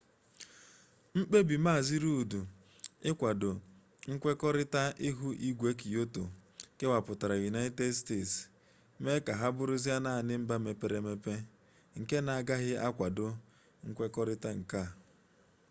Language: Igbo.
mkpebi mazị rudd ịkwado nkwekọrita ihu igwe kyoto kewapụrụ united states mee ka ha bụrụzie naanị mba mepere-emepe nke na-agaghị akwado nkwekọrịta a